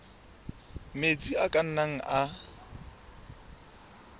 metsi a ka nnang a